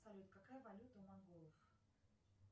салют какая валюта у монголов